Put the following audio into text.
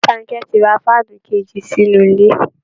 Bankẹ ti ra fáànù kèjì sínú ilé